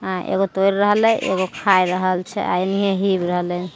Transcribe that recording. अ एगो तौर रहले एगो खाय रहल छैएनिये हिब रहले